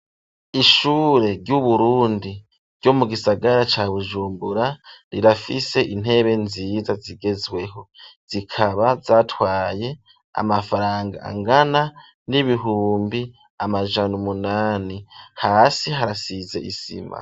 Ishure ry'Uburundi, ryo mu gisagara ca Bujumbura, rirafise intebe nziza, zigezweho; zikaba zatwaye, amafaranga angana, n'ibihumbi amajana umunani; hasi harasize isima.